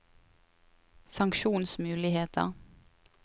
sanksjonsmuligheter